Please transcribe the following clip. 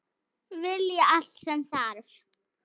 Vilji er allt sem þarf